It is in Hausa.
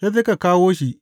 Sai suka kawo shi.